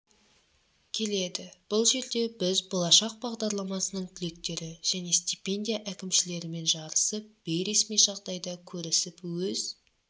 келеді бұл жерде біз болашақ бағдарламасының түлектері және стипендия әкімшілерімен жарысып бейресми жағдайда көрісіп өз